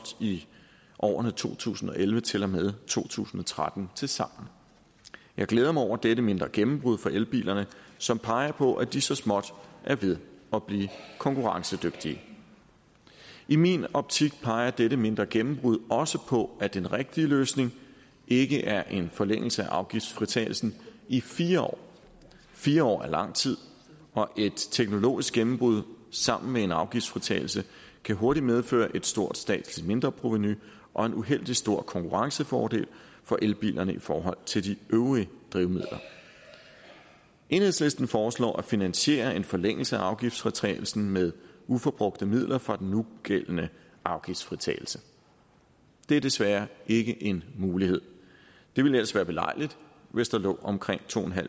i årene to tusind og elleve til og med to tusind og tretten tilsammen jeg glæder mig over dette mindre gennembrud for elbilerne som peger på at de så småt er ved at blive konkurrencedygtige i min optik peger dette mindre gennembrud også på at den rigtige løsning ikke er en forlængelse af afgiftsfritagelsen i fire år fire år er lang tid og et teknologisk gennembrud sammen med en afgiftsfritagelse kan hurtigt medføre et stort statsligt mindreprovenu og en uheldig stor konkurrencefordel for elbilerne i forhold til de øvrige drivmidler enhedslisten foreslår at finansiere en forlængelse af afgiftsfritagelsen med uforbrugte midler fra den nugældende afgiftsfritagelse det er desværre ikke en mulighed det ville ellers være belejligt hvis der lå omkring to